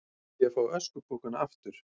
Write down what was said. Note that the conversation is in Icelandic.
Vilja fá öskupokana aftur